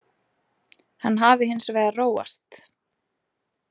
Hann hafi hins vegar róast